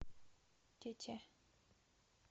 тете